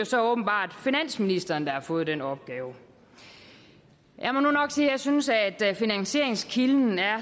så åbenbart finansministeren der har fået den opgave jeg må nok sige at jeg synes at finansieringskilden er